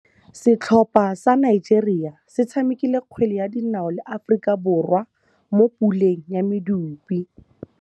Setlhopha sa Nigeria se tshamekile kgwele ya dinaô le Aforika Borwa mo puleng ya medupe.